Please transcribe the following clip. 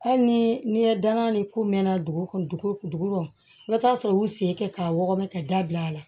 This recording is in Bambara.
Hali ni n'i ye danna ni k'u mɛna dugu kɔnɔ dugu lɔta sɔrɔ u y'u sen kɛ k'a wɔgɔbɛ ka dabil'a la